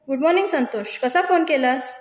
Good morning Santosh कसा phone केलास?